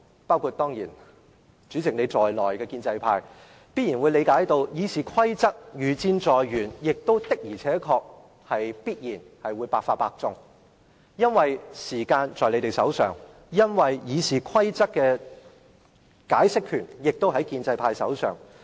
包括主席在內的建制派議員十分明白，《議事規則》的修訂如箭在弦，而且必定百發百中，因為時間握在建制派手上，《議事規則》的解釋權也握在他們手上。